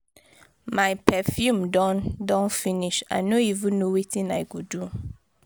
my perfume done done finish i no even know wetin i go do